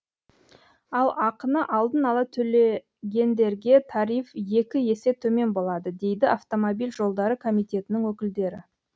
ал ақыны алдын ала төлегендерге тариф екі есе төмен болады дейді автомобиль жолдары комитетінің өкілдері